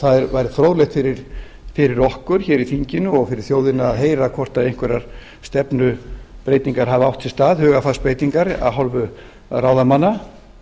það væri fróðlegt fyrir okkur hér í þinginu og fyrir þjóðina að heyra hvort einhverjar stefnubreytingar hafa átt sér stað hugarfarsbreytingar af hálfu ráðamanna